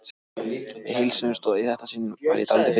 Við heilsuðumst og í þetta sinn var ég dálítið feimin.